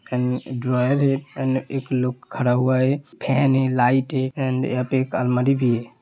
End drawer है and एक लोग खड़ा हुआ है फैन है लाइट है एन्ड यहाँ पर एक अलमारी भी है।